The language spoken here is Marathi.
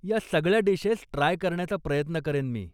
या सगळ्या डिशेस ट्राय करण्याचा प्रयत्न करेन मी.